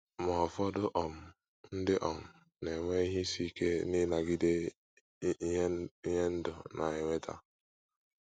Ma, ụfọdụ um ndị um na - enwe ihe isi ike n’ịnagide ihe ndụ na - eweta.